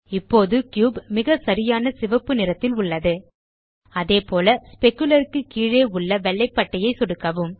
இப்போது கியூப் மிகச்சரியான சிவப்பு நிறத்தில் உள்ளது அதேபோல் ஸ்பெக்குலர் க்கு கீழே உள்ள வெள்ளை பட்டையை சொடுக்கவும்